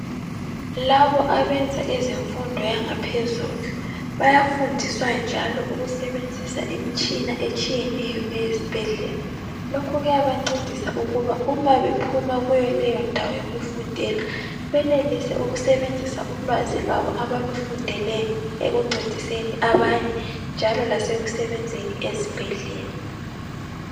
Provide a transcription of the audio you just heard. Labo abenza ezemfundo yangaphezulu bayafundiswa njalo ukusebenzisa imitshina etshiyeneyo eyezibhedlela. Lokhu kuyabancedisa ukuba uma bephuma kuleyondawo yokufundela benelise ukusebenzisa ulwazi lwabo abalufundeleyo ekuncediseni abanye njalo lasekusebenzeni ezibhedlela.